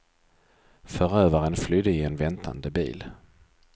Förövaren flydde i en väntande bil.